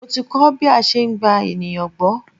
Mo ti kọ́ bí a ṣe ń gba ènìyàn gbọ́.